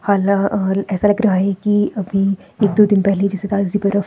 ऐसा लग रहा है कि अभी एक दो दिन पहले जैसे ताजी बरफ --